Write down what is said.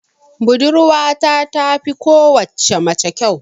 Budurwata tafi kowace mace kyau.